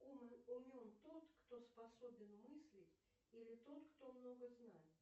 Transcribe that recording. умом умен тот кто способен мыслить или тот кто много знает